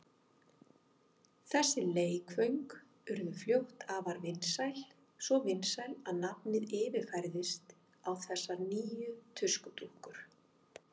Þessi leikföng urðu fljótt afar vinsæl, svo vinsæl að nafnið yfirfærðist á þessar nýju tuskudúkkur.